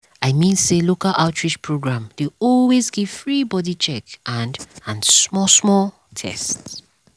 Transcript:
i mean say local outreach program dey always give free body check and and small small test.